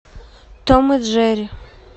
том и джерри